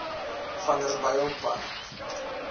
vanderbijilpark